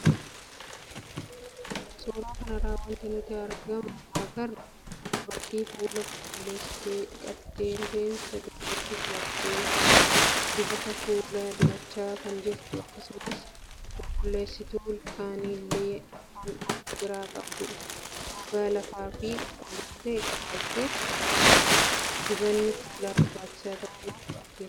Suuraa kanarraa wanti nutti argamu, dubartii fuula qulqulleessitee dhiqattee, rifeensa duubatti filattee, dibata fuulaa dibachaa kan jirtu akkasumas qulqulleessituu ilkaanii illee kan of biraa qabdudha. Gogaa laafaa fi qulqulluu ta'e qabaachuuf dibanni fuulaa barbaachisaa ta'uu nuuf akeeka.